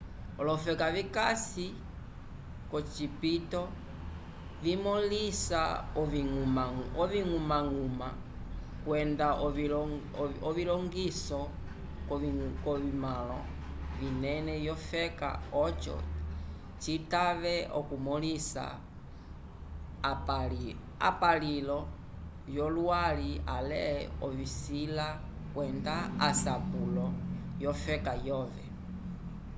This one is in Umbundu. olofeka vikasi k'ocipito vimõlisa oviñgumañguma kwenda ovilongiso k'ovitumãlo vinene vyofeka oco citave okumõlisa apulilo vyolwali ale ovisila kwenda asapulo vyofeka yove